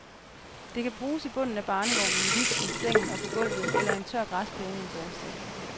Det kan bruges i bunden af barnevognen, liften, sengen og på gulvet eller en tør græsplæne en forårsdag.